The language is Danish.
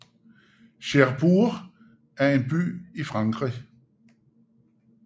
Cherbourg er en by i Frankrig